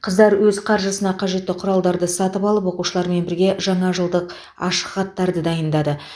қыздар өз қаржысына қажетті құралдарды сатып алып оқушылармен бірге жаңа жылдық ашық хаттарды дайындады